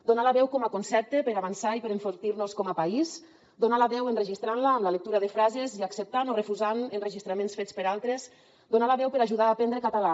donar la veu com a concepte per avançar i per enfortir nos com a país donar la veu enregistrant la amb la lectura de frases i acceptant o refusant enregistraments fets per altres donar la veu per ajudar a aprendre català